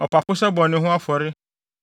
ɔpapo sɛ bɔne ho afɔre;